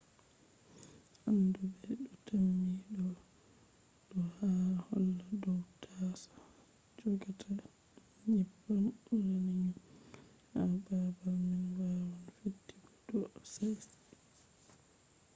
anduɓe ɗo tammi ɗo ɗo holla dow taaso jogata nyebbam uranium man ha babal man waawan fetti ko ɗo si'a